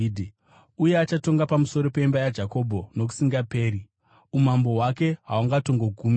uye achatonga pamusoro peimba yaJakobho nokusingaperi; umambo hwake hahungatongogumi.”